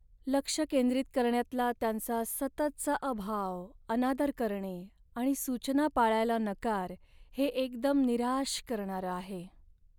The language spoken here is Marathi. लक्ष केंद्रित करण्यातला त्यांचा सततचा अभाव, अनादर करणे आणि सूचना पाळायला नकार हे एकदम निराश करणारं आहे.